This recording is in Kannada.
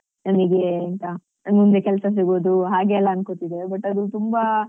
ನಮಿಗೆ ಎಂತ ಮುಂದೆ ಕೆಲ್ಸ ಸಿಗೋದು ಹಾಗೆಲ್ಲ ಅನ್ಕೋತಿದ್ದೆ but ಅದು ತುಂಬ